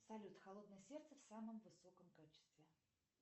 салют холодное сердце в самом высоком качестве